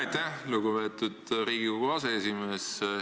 Aitäh, lugupeetud Riigikogu aseesimees!